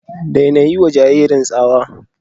Daina yiwa jaririn tsawa.